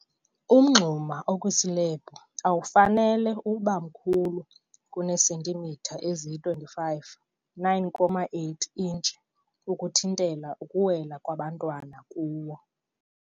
Umngxuma okwislebhu awufanele ube mkhulu kuneesentimitha eziyi-25, 9.8 intshi, ukuthintela ukuwela kwabantwana kuwo.